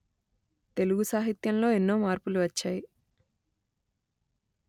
తెలుగు సాహిత్యం లో ఎన్నో మార్పులు వచ్చాయి